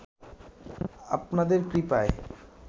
আপনাদের কৃপায়